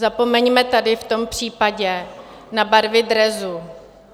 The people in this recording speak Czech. Zapomeňme tady v tom případě na barvy dresu.